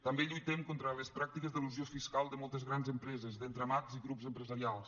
també lluitem contra les pràctiques d’elusió fiscal de moltes grans empreses d’entramats i grups empresarials